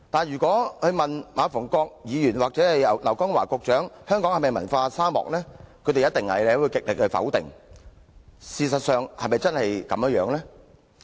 若問馬逢國議員或劉江華局長香港是否文化沙漠，他們必會極力否定，但事實又是否真的如此？